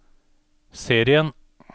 serien